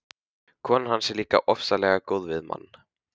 Konan hans er líka ofsalega góð við mann.